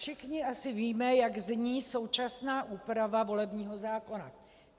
Všichni asi víme, jak zní současná úprava volebního zákona.